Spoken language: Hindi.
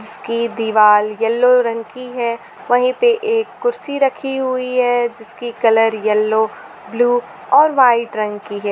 इसकी दीवाल येलो रंग की है वहीं पर एक कुर्सी रखी हुई है जिसकी कलर येलो ब्लू और वाइट रंग की है।